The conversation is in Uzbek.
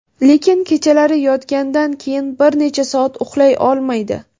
lekin kechalari yotgandan keyin bir necha soat uxlay olmaydi.